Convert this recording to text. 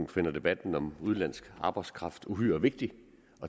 finder debatten om udenlandsk arbejdskraft uhyre vigtig